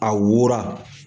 A wora